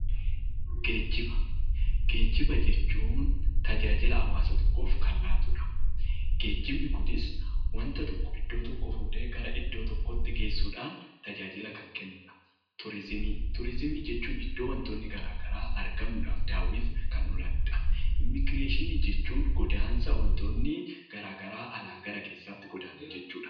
Geejiba Geejiba jechuun tajaajila hawaasa tokkoof kan laatudha. Geejibni kunis waanta tokko iddoo tokkoo fuudhee iddoo biraatti geessuudhaan tajaajila kan kennudha. Turizimii jechuun iddoo waantonni garaagaraa argamuudhaan daawwiif kan oolanidha. Immigireeshinii jechuun godaansa waantonni garaagaraa alaa gara keessaatti godaanan jechuudha.